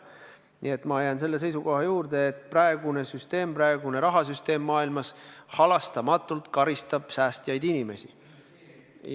Nii et ma jään selle seisukoha juurde, et praegune rahasüsteem maailmas halastamatult karistab säästjaid inimesi.